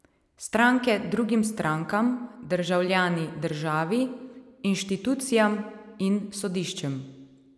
Stranke drugim strankam, državljani državi, inštitucijam in sodiščem.